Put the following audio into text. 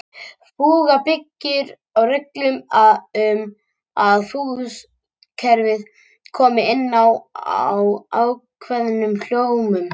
Fúga byggir á reglum um að fúgustefið komi inn á ákveðnum hljómum.